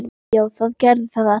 Já, það gerðu það allir.